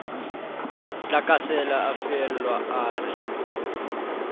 tlakasela a fehelwa a re